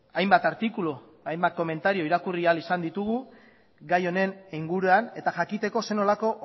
hainbat artikulu hainbat komentario irakurri al ditugu gai honen inguruan eta jakiteko ze nolako